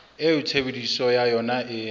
eo tshebediso ya yona e